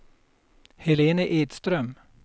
Helene Edström